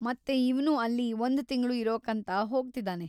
ಮತ್ತೆ ಇವ್ನು ಅಲ್ಲಿ ಒಂದ್‌ ತಿಂಗ್ಳು ಇರೋಕಂತ ಹೋಗ್ತಿದಾನೆ.